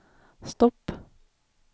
stopp